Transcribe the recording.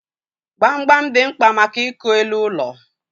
Gbamgbam dị mkpa maka ịkụ elu ụlọ.